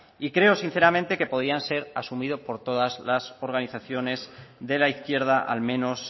y creo sinceramente que podían ser asumidos por todas las organizaciones de la izquierda al menos